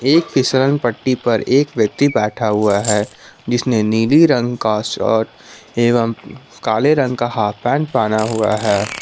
एक फिसलन पट्टी पर एक व्यक्ति बैठा हुआ है जिसने नीली रंग का शर्ट एवं काले रंग का हाफ पैंट पहना हुआ है।